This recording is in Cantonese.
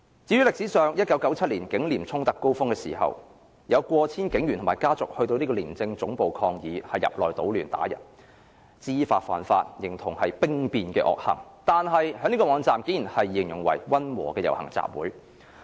至於歷史上 ，1977 年警廉衝突高峰時，有過千警員及家屬到廉署總部抗議並入內搗亂打人，知法犯法，形同兵變的惡行，警隊的網站卻竟然形容為溫和的遊行集會。